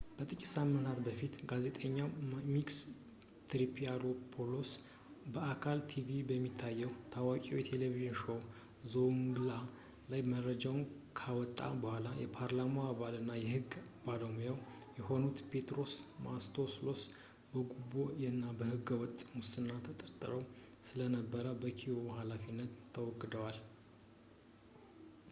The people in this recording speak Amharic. ከጥቂት ሳምንታት በፊት ጋዜጠኛው ማኪስ ትሪያንታፊሎፖውሎስ በአልፋ ቲቪ በሚታየው ታዋቂ የቴሌቪዥን ሾዉ ዞውንግላ ላይ መረጃውን ካወጣ በኋላ የፓርላማው አባልና የሕግ ባለሙያ የሆኑት ፔትሮስ ማንቶቫሎስ በጉቦ እና ሕገ-ወጥ ሙስና ተጠምደው ስለነበር ከቢሮው ሃላፊነት ተወግደዋል